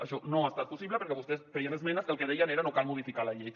això no ha estat possible perquè vostès feien esmenes que el que deien era no cal modificar la llei